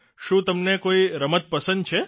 શું તમને કોઇ રમત પસંદ છે